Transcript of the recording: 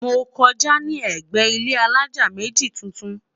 mọ kọjá ní ègbé ilé alájá méjì tuntun